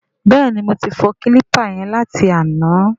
Bẹ́ẹ̀ni, mo ti fọ kílípà yẹn láti àná.